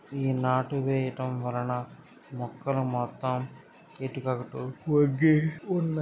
ఈ నాటు వేయడం వలన మొక్కలు మొత్తమ్ ఇటు అటు వంగి ఉ--